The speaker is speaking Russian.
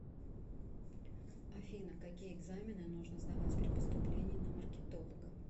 афина какие экзамены нужно сдавать при поступлении на маркетолога